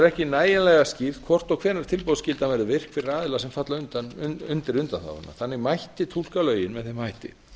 ekki nægjanlega skýrt hvort og hvenær tilboðsskyldan verður virk fyrir aðila sem falla undir undanþáguna þannig mætti túlka lögin með þeim hætti